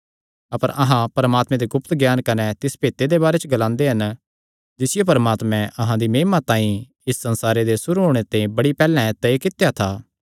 अपर अहां परमात्मे दे गुप्त ज्ञान कने तिस भेते दे बारे च ग्लांदे हन जिसियो परमात्मैं अहां दी महिमा तांई इस संसारे दे सुरू होणे ते बड़ी पैहल्ले तय कित्या था